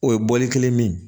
O ye bɔli kelen min ye